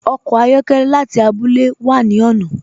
Ọkọ ayọkẹlẹ láti àbúlẹ̀ wà ni ọ̀nà.